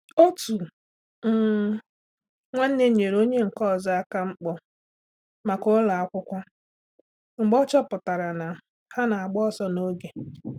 Otu um nwanne nyere onye nke ọzọ aka mkpọ maka ụlọ akwụkwọ mgbe ọ chọpụtara na ha na-agba ọsọ n'oge.